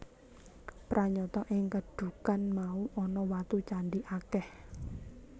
Pranyata ing kedhukan mau ana watu candhi akèh